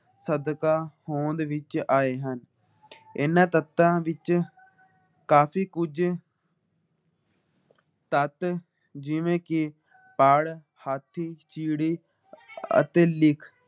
ਸਦਕਾ ਹੌਂਦ ਵਿੱਚ ਆਏ ਹਨ। ਇਹਨਾਂ ਤੱਤਾਂ ਵਿੱਚ ਕਾਫੀ ਕੁੱਜ ਤੱਤ ਜਿਵੇ ਕੀ ਪਾੜ ਹਾਥੀ ਚਿੜੀ ਅਤੇ ਲਿਖ